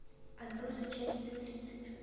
отбросы часть тридцать